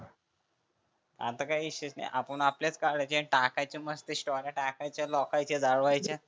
आता काही विषय नाही आपण आपलेच काढायचे टाकायच्या मस्त स्टोर्या टाकायच्या लोकायच्या जळवायच्या.